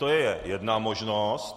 To je jedna možnost.